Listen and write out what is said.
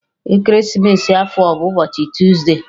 Ekeresimesi afọ a bụ ụbọchị tuesde